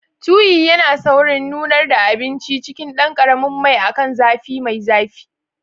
Tuyi yana saurin nunar da abinci a cikin ɗan ƙaramin mai akan zafi mai zafi.